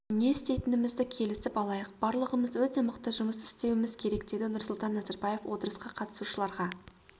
не істейтінімізді келісіп алайық барлығымыз өте мықты жұмыс істеуіміз керек деді нұрсұлтан назарбаев отырысқа қатысушыларға